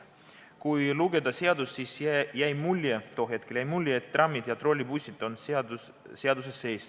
Kui lugeda seadust, siis jäi mulje – tol hetkel jäi mulje –, et trammid ja trollibussid on seaduses sees.